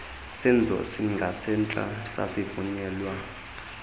senzo singasentla sasivunyelwa